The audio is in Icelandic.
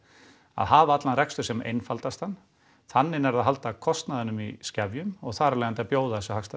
að hafa allan rekstur sem einfaldastan þannig nærðu að halda kostnaðinum í skefjum og þar af leiðandi að bjóða þessi hagstæðu